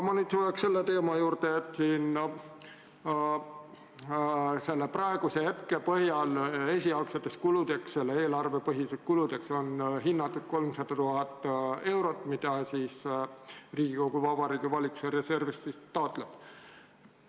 Ma tulen selle teema juurde, et praegu on selle eelnõu esialgseteks kuludeks hinnatud 300 000 eurot, mida Riigikogu Vabariigi Valitsuse reservist taotleb.